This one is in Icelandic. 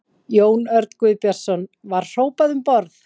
Jón Örn Guðbjartsson: Var hrópað um borð?